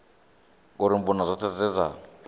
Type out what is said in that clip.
uri mbuno dzoṱhe dze dza